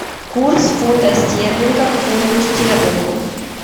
курс фунта стерлинга к фунту стерлингу